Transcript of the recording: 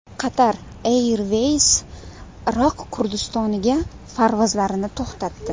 Qatar Airways Iroq Kurdistoniga parvozlarni to‘xtatdi.